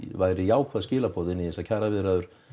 væri jákvæð skilaboð inn í þessar kjaraviðræður